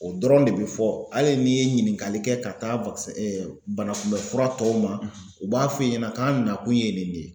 O dɔrɔn de bi fɔ. Hali n'i ye ɲininkali kɛ ka taa banakunbɛn fura tɔw ma, u b'a f'i ɲɛna k'an nakun ye nin de ye.